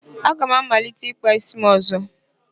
Aga m amalite ịkpa ísí m ọ̀zọ́.